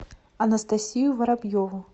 анастасию воробьеву